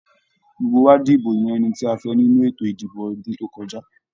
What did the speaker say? Gbogbo wa dibo yan ẹni tí a fẹ nínú ètò ìdìbò ọdún to kọjá.